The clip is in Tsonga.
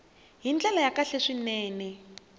hi ndlela ya kahle swinene